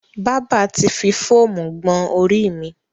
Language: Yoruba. Bábà ti fi fóómú gbọn orí mi.